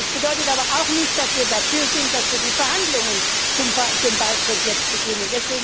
Es bedeutet aber auch nicht, dass wir dafür sind, dass wir die Verhandlungen zum Beitritt jetzt beginnen.